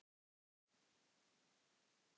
Ertu með stóra drauma?